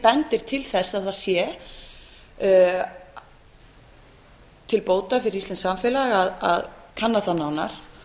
bendir til þess að það sé til bóta fyrir íslenskt samfélag að kanna það nánar